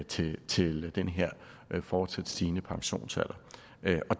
til til den her fortsat stigende pensionsalder det